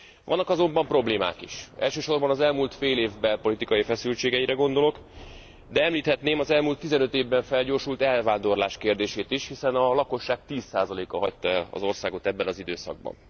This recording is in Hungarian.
Vannak azonban problémák is elsősorban az elmúlt félév belpolitikai feszültségeire gondolok, de említhetném az elmúlt 15 évben felgyorsult elvándorlás kérdését is, hiszen a lakosság 10 a hagyta el az országot ebben az időszakban.